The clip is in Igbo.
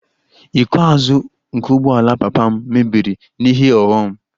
Iko azụ nke ụgbọala papa m mebiri n'ihe ọghọm